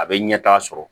A bɛ ɲɛtaa sɔrɔ